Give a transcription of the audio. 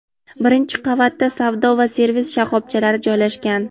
Birinchi qavatda savdo va servis shoxobchalari joylashgan.